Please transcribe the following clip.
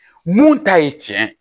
Mun ta ye tiɲɛ ye